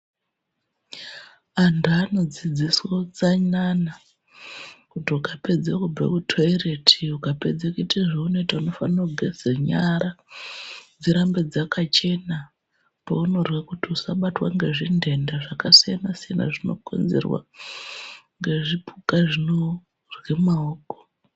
Antu anodzidziswe utsanana kuti ukapedze kubva kutoireti, ukapedza kuita zveunoita unofanire kugeze nyara dzirambe dzakachena paunorya kuti usabatwa nezvintenda zvakasiyana-siyana zvinokonzerwa ngezvipuka zvinorye maoko.